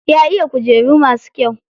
Ya iya kujeru masu kyau.